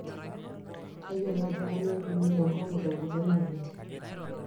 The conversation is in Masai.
tayiolo ajo kanyioo eipimi tenkong'u teng'uton oleng